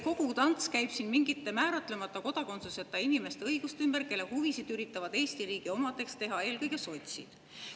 Kogu tants käib siin mingite määratlemata kodakondsusega inimeste õiguste ümber, kelle huvisid üritavad Eesti riigi omadeks teha eelkõige sotsid.